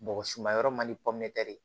Bɔgɔsuma yɔrɔ man di pɔmetɛ